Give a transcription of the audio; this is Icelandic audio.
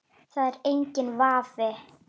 Það er enginn vafi.